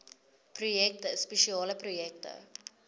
projekte spesiale projekte